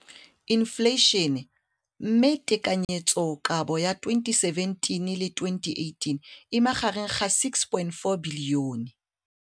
Infleišene, mme tekanyetsokabo ya 2017, 18, e magareng ga R6.4 bilione.